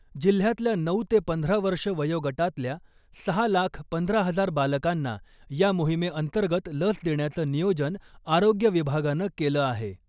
जिल्ह्यातल्या नऊ ते पंधरा वर्षं वयोगटातल्या सहा लाख पंधरा हजार बालकांना या मोहिमेअंतर्गत लस देण्याचं नियोजन आरोग्य विभागानं केलं आहे .